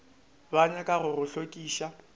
ba nyaka go go hlokiša